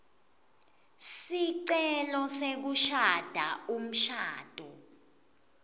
sicelo sekushada umshado